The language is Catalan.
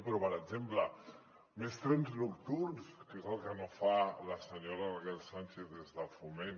però per exemple més trens nocturns que és el que no fa la senyora raquel sánchez des de foment